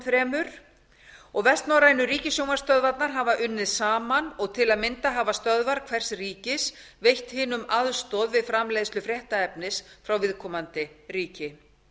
þremur og vestnorrænu ríkissjónvarpsstöðvarnar hafa unnið saman og til að mynda hafa stöðvar hvers ríkis veitt hinum aðstoð við framleiðslu fréttaefnis frá viðkomandi ríki